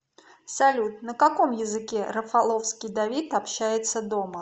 салют на каком языке рафаловский давид общается дома